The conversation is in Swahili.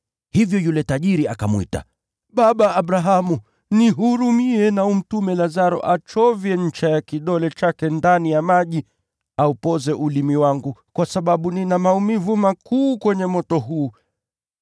Hivyo yule tajiri akamwita, ‘Baba Abrahamu, nihurumie na umtume Lazaro achovye ncha ya kidole chake ndani ya maji aupoze ulimi wangu, kwa sababu nina maumivu makuu kwenye moto huu.’